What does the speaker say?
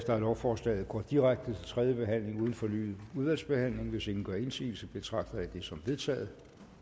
at lovforslaget går direkte til tredje behandling uden fornyet udvalgsbehandling hvis ingen gør indsigelse betragter jeg det som vedtaget